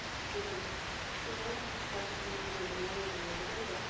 төрем сен облыстық газеттің бүгінгі номерін оқыдың ба